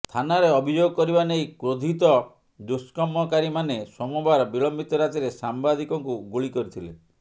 ଥାନାରେ ଅଭିଯୋଗ କରିବା ନେଇ କ୍ରୋଧିତ ଦୁଷ୍କର୍ମକାରୀମାନେ ସୋମବାର ବିଳମ୍ବିତ ରାତିରେ ସାମ୍ବାଦିକଙ୍କୁ ଗୁଳି କରିଥିଲେ